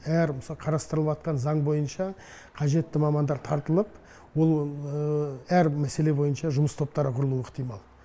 әр мысалы қарастырып жатқан заң бойынша қажетті мамандар тартылып ол әр мәселе бойынша жұмыс топтары құрылуы ықтимал